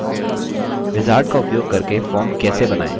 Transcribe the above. wizard का उपयोग करके form कैसे बनायें